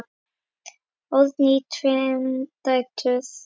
Árni á tvær dætur.